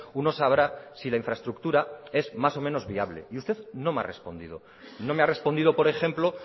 uno sabrá si la infraestructura es más o menos viable y usted no me ha respondido no me ha respondido por ejemplo